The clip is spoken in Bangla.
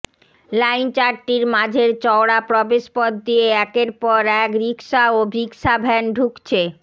লাইন চারটির মাঝের চওড়া প্রবেশ পথ দিয়ে একের পর এক রিকশা ও রিকশাভ্যান ঢুকছে